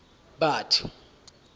batho